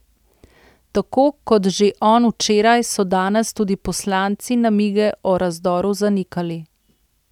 Tako kot že on včeraj so danes tudi poslanci namige o razdoru zanikali.